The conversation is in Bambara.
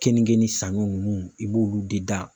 Keninge ni saɲɔ ninnu i b'olu de dan